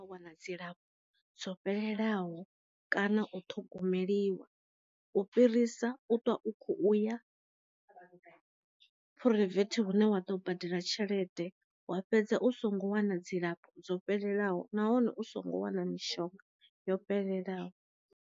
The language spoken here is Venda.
Wana dzilafho dzo fhelelaho kana u ṱhogomeliwa u fhirisa u ṱwa u kho uya phuraivethe hune wa ḓo badela tshelede wa fhedza u songo wana dzilafho dzo fhelelaho nahone u songo wana mishonga yo fhelelaho.